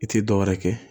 I tɛ dɔ wɛrɛ kɛ